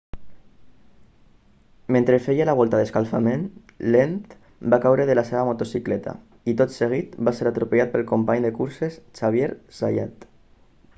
mentre feia la volta d'escalfament lenz va caure de la seva motocicleta i tot seguit va ser atropellat pel company de curses xavier zayat